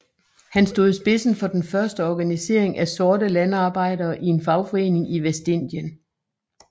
Han stod i spidsen for den første organisering af sorte landarbejdere i en fagforening i Vestindien